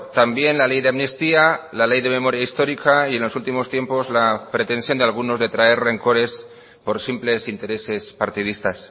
también la ley de amnistía la ley de memoria histórica y en los últimos tiempos la pretensión de algunos de traer rencores por simples intereses partidistas